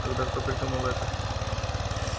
тогда кто придумал это